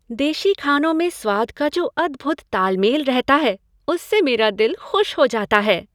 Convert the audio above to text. देशी खानों में स्वाद का जो अद्भुत ताल मेल रहता है, उससे मेरा दिल खुश हो जाता है।